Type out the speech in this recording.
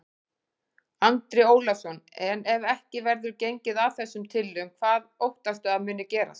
Andri Ólafsson: En ef ekki verður gengið að þessum tillögum, hvað óttastu að muni gerast?